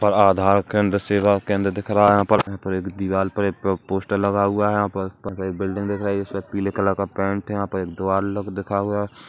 और आधार केंद्र सेवा केंद्र दिख रहा है यहाँ पर यहाँ पर एक दीवाल पर एक पो- पोस्टर लगा हुआ है यहाँ पर बिल्डिंग दिख रही है उसपे पीले कलर का पेंट है यहाँ पर एक द्वार लोग दिखा हुआ है।